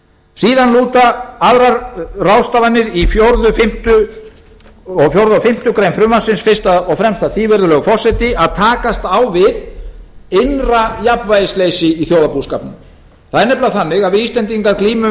síðan lúta aðrar ráðstafanir í fjórða og fimmtu grein frumvarpsins fyrst og fremst að því virðulegi forseti að takast á við innra jafnvægisleysi í þjóðarbúskapnum það er nefnilega þannig að við íslendingar glímum